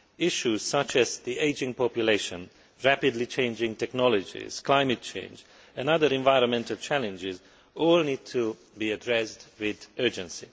Issues such as the ageing population, rapidly changing technologies, climate change and other environmental challenges all need to be addressed with urgency.